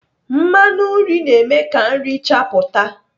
Mmanụ nri na-eme ka nri chapụta.